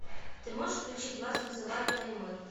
ты можешь включить вас вызывает таймыр